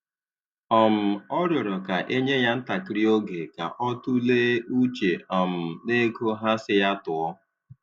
um Ọ rịọrọ ka e nye ya ntakịrị oge ka ọ tụlee uche um n'ego ha sị ya tụọ